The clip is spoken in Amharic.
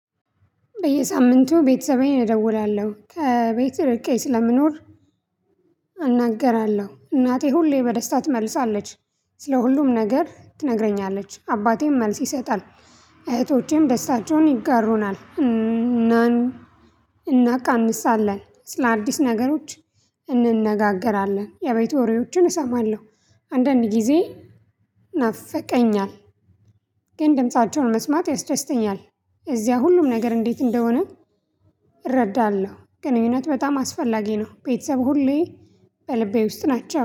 በየሳምንቱ ቤተሰቤን እደውላለሁ ከቤት ርቄ ስለምኖር። እናገራለሁ እናቴ ሁሌ በደስታ ትመልሳለች። ስለ ሁሉም ነገር ትነግረኛለች አባቴም መልስ ይሰጣል። እህቶቼም ደስታቸውን ይጋሩናል እናን። እናቃምሳለን ስለአዲስ ነገሮች እንነጋገራለን። የቤት ወሬዎችን እሰማለሁ። አንዳንድ ጊዜ ናፍቀኛል። ግን ድምፃቸውን መስማት ያስደስተኛል። የዚያ ሁሉም ነገር እንዴት እንደሆነ። እረዳለሁ ግንኙነት በጣም አስፈላጊ ነው። ቤተሰብ ሁሌ በልቤ ውስጥ ናቸው